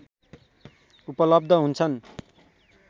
उपलब्ध हुन्छन्